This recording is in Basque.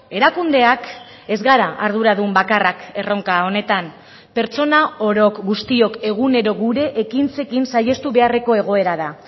erakundeak ez gara arduradun bakarrak erronka honetan pertsona orok guztiok egunero gure ekintzekin saihestu beharreko egoera da